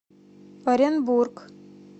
оренбург